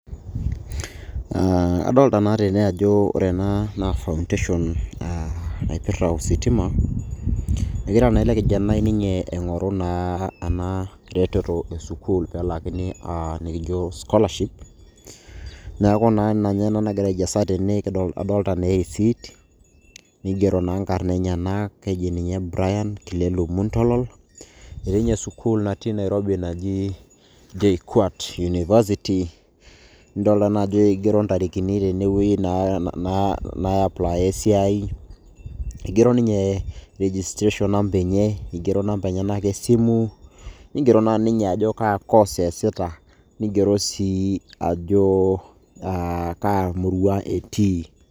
Aa adolita naa tene ajo ore ena naa foundation aa napirta ositima egira naa ele kijanai ninye aingoru naa ena reteto e sukuul pelaakini aa nikijo scholarship niaku naa ninye ina nagira aijasa tene adolta na e receipt nigero naa nkarn aenyenak ,keji ninye Brian kilelu muntolol etii ninye sukuul naji nairobi naji JKUAT university nidolta naa ajo igero ntarikini tenewuei naa naa aiplaya esiai , eigero ninye registration number enye , igero inamba enyenak esimu ,ngero naa ninye ajo kaa course easita , nigero sii ajo a kaa murua etii